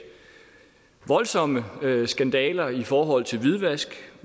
voldsomme skandaler i forhold til hvidvask